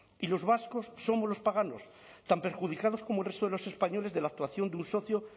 y los vascos somos los paganos tan perjudicados como el resto de los españoles de la actuación de un socio